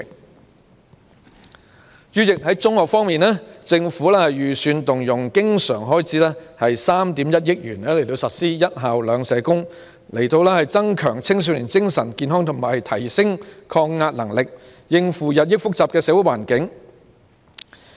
代理主席，在中學方面，政府預算動用經常性開支3億 1,000 萬元，實施"一校兩社工"，以增強青少年精神健康及提升抗壓能力，應付日益複雜的社會環境。